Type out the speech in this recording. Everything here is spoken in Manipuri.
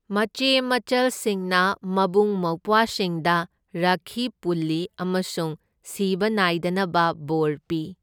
ꯃꯆꯦ ꯃꯆꯜꯁꯤꯡꯅ ꯃꯕꯨꯡ ꯃꯧꯄ꯭ꯋꯥꯁꯤꯡꯗ ꯔꯈꯤ ꯄꯨꯜꯂꯤ ꯑꯃꯁꯨꯡ ꯁꯤꯕ ꯅꯥꯏꯗꯅꯕ ꯕꯣꯔ ꯄꯤ꯫